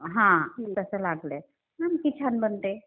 हा जसं लागलं. किती छान बनते.